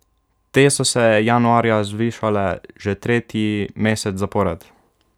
Te so se januarja zvišale že tretji mesec zapored.